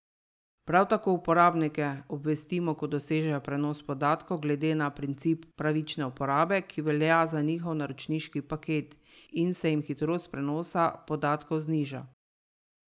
Prav tako uporabnike obvestimo, ko dosežejo prenos podatkov glede na princip pravične uporabe, ki velja za njihov naročniški paket, in se jim hitrost prenosa podatkov zniža.